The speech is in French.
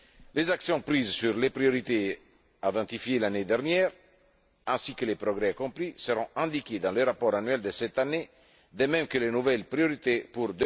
Les actions prises sur les priorités identifiées l'année dernière ainsi que les progrès accomplis seront indiqués dans le rapport annuel de cette année, de même que les nouvelles priorités pour